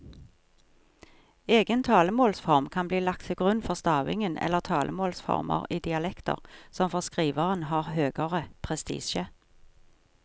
Egen talemålsform kan bli lagt til grunn for stavingen eller talemålsformer i dialekter som for skriveren har høgere prestisje.